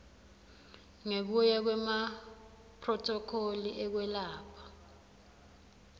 ngekuya kwemaphrothokholi ekwelapha